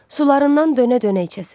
Sularından dönə-dönə içəsən.